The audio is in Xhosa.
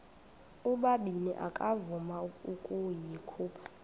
ubabini akavuma ukuyikhupha